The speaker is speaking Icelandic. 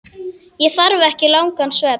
Ég þarf ekki langan svefn.